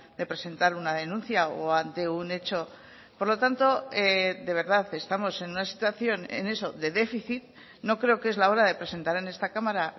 de presentar una denuncia o ante un hecho por lo tanto de verdad estamos en una situación en eso de déficit no creo que es la hora de presentar en esta cámara